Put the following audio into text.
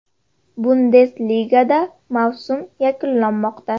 Bundesligada mavsum yakunlanmoqda.